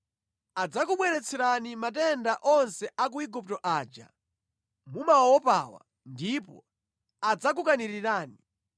Adzakubweretserani matenda onse a ku Igupto aja mumawaopawa ndipo adzakukanirirani.